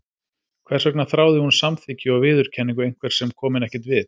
Hvers vegna þráði hún samþykki og viðurkenningu einhvers sem kom henni ekkert við?